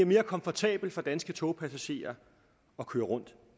mere komfortabelt for danske togpassagerer at køre rundt